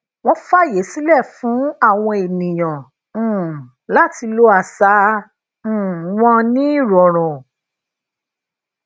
wón faye sile fun awon eniyan um lati lo asa um won ni irorun